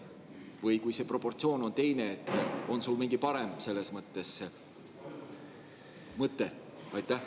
Või kui see proportsioon on teine, kas sul on selles mõttes mingi parem mõte?